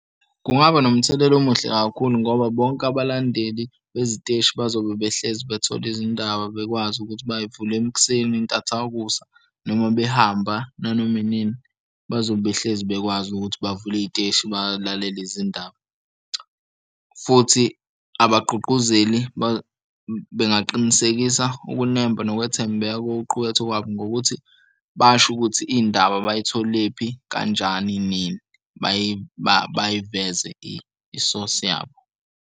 Kungaba nomthelela omuhle kakhulu ngoba bonke abalandeli beziteshi bazobe behlezi bethole izindaba bekwazi ukuthi bay'vule ekuseni ntathakusa noma behamba nanoma inini. Bazobe behlezi bekwazi ukuthi bavule iy'teshi balalele izindaba futhi abagqugquzeli bengaqinisekisa ukunemba nokwethembeka kokuqukethwe kwabo ngokuthi basho ukuthi iy'ndaba abayitholephi kanjani nini bayiveze isosi yabo.